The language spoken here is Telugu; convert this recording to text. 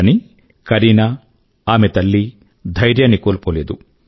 కానీ కరీనా ఆమె తల్లి ధైర్యాన్ని కోల్పోలేదు